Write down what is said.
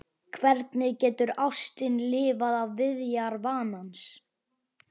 Hvernig getur ástin lifað af viðjar vanans?